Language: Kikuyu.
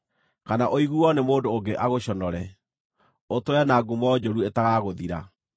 kana ũiguuo nĩ mũndũ ũngĩ agũconore, ũtũũre na ngumo njũru ĩtagagũthira.